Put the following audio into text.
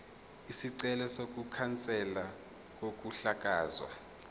isicelo sokukhanselwa kokuhlakazwa